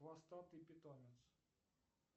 хвостатый питомец